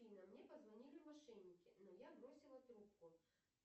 афина мне позвонили мошенники но я бросила трубку